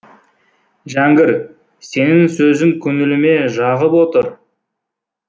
жәңгір сенің сөзің көңіліме жағып отыр